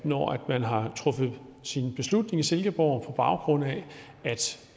når man har truffet sin beslutning i silkeborg på baggrund af